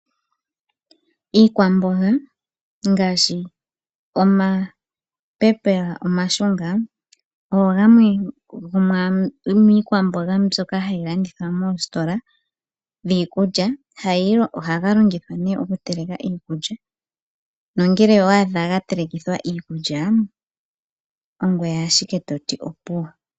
Iikwamboga ngaashi omapepela omashunga ogo gamwe gomiikwamboga mbyoka hayi landithwa moositola dhiikulya ohaga longithwa nee okuteleka iikulya nongele owa adha ga telekithwa iikulya ongoye ashike toti opuwo.